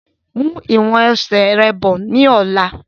Mú ìwọ̀n ẹsẹ̀ rẹ bọ̀ ni ọ̀la!